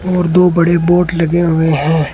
और दो बड़े बोर्ड लगे हुए हैं।